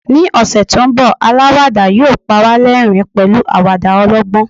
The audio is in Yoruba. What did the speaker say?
ni ọsẹ ti nbọ alawada yíò pa wa l'ẹrin pẹlu awada ọlọgbọn